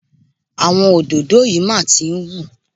Àwọn òdòdó yìí máa tí ń hú.